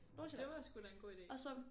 Det var sgu da en god ide